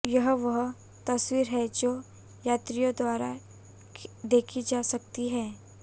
यह वह तस्वीर है जो यात्रियों द्वारा देखी जा सकती है